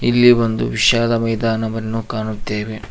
ಇಲ್ಲಿ ಒಂದು ವಿಶಾಲ ಮೈದಾನವನ್ನು ಕಾಣುತ್ತೇವೆ.